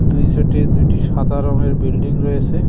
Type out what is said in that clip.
দুই সাইটে দুইটি সাদা রংয়ের বিল্ডিং রয়েসে।